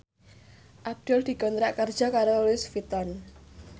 Abdul dikontrak kerja karo Louis Vuitton